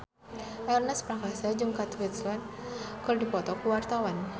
Ernest Prakasa jeung Kate Winslet keur dipoto ku wartawan